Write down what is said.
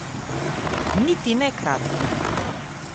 Niti ne kratkih.